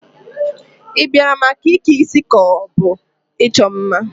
Ị bịara maka ike isi ka ọ bụ ịchọ mma?